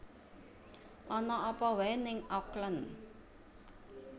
Ana apa wae ning Auckland